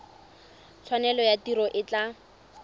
tshwanelo ya tiro e tla